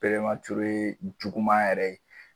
perematire juguman yɛrɛ ye